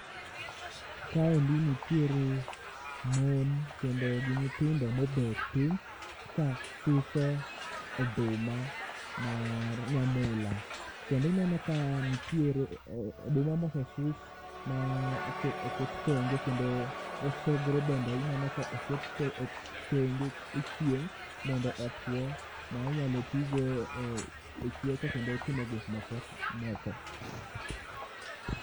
Kaendi nitiere mon kendo gi nyithindo mobet piny ka suso oduma mar nyamula. Dongineno ka nitiere oduma mosesus ma oket, oket tenge kendo osogro bende ineno ko oket the, e thenge e chieng' mondo otwo. Ma inyalo tigo e chweko kendo timo gik moko.